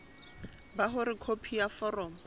ba hore khopi ya foromo